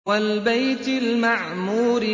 وَالْبَيْتِ الْمَعْمُورِ